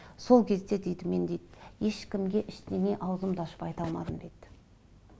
сол кезде дейді мен дейді ешкімге ештеңе аузымды ашып айта алмадым дейді